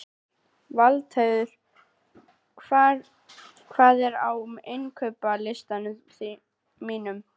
Valdheiður, hvað er á innkaupalistanum mínum?